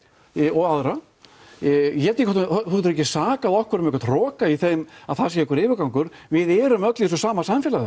og aðra þú getur ekkert sakað okkur um einhvern hroka í þeim að það sé einhver yfirgangur við erum öll í þessu sama samfélagi